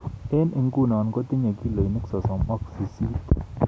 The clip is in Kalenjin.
eng inguno kotinye kilonik sosom ak sisit